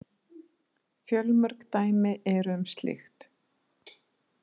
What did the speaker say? Fjölmörg dæmi eru um slíkt.